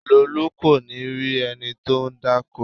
Lolu kò ní rí ẹni tó ń dákó